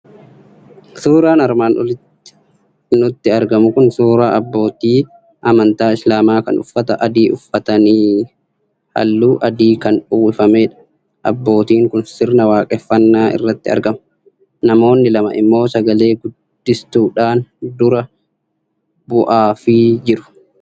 Suuraan armaan olitti nutti argamu kun suuraa abbootii amantaa Islaamaa kan uffata adii uffataniiran, halluu adiin kan uwwifamedha. Abbootiin kun sirna waaqeffannaa irratti argamu. Namoonni lama immoo sagalee guddistuudhaan dura bu'aafii jiru.o